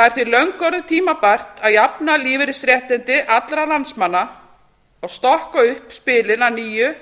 er því löngu orðið tímabært að jafna lífeyrisréttindi allra landsmanna og stokka upp spilin að nýju